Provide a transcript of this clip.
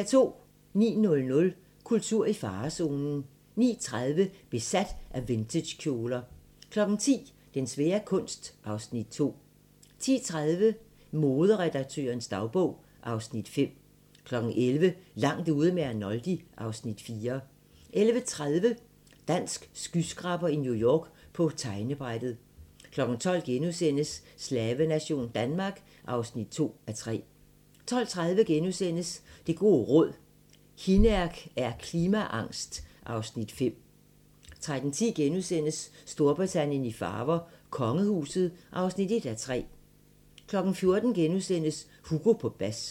09:00: Kultur i farezonen 09:30: Besat af vintagekjoler 10:00: Den svære kunst (Afs. 2) 10:30: Moderedaktørens dagbog (Afs. 5) 11:00: Langt ude med Arnoldi (Afs. 4) 11:30: Dansk skyskraber i New York - På tegnebrættet 12:00: Slavenation Danmark (2:3)* 12:30: Det gode råd: Hinnerk er klimaangst (Afs. 5)* 13:10: Storbritannien i farver: Kongehuset (1:3)* 14:00: Hugo på bas *